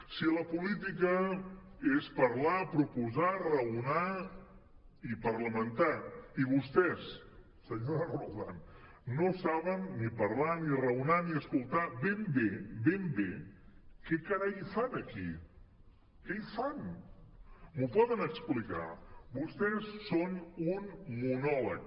si la política és parlar proposar raonar i parlamentar i vostès senyora roldán no saben ni parlar ni raonar ni escoltar ben bé ben bé què carai hi fan aquí què hi fan m’ho poden explicar vostès són un monòleg